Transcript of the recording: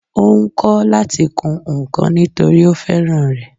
Ó ń kọ́ láti kun ǹkan nítòrí ó fẹ́ràn rẹ̀